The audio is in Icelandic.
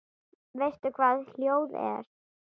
Veistu hvað ljóð er?